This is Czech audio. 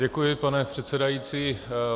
Děkuji, pane předsedající.